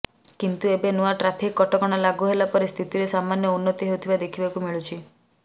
କିନ୍ତୁ ଏବେ ନୂଆ ଟ୍ରାଫିକ କଟକଣା ଲାଗୁ ହେଲା ପରେ ସ୍ଥିତିରେ ସାମାନ୍ୟ ଉନ୍ନତି ହେଉଥିବା ଦେଖିବାକୁ ମିଳୁଛି